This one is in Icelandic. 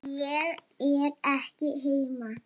Ég er ekki heima